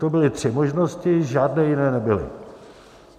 To byly tři možnosti, žádné jiné nebyly.